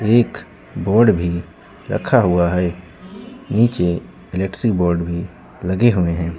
एक बोर्ड भी रखा हुआ है नीचे इलेक्ट्रीशियन बोर्ड भी लगे हुए हैं।